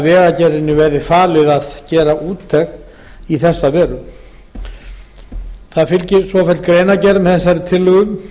vegagerðinni verði falið að gera úttekt í þessa veru það fylgir svofelld greinargerð með þessari tillögu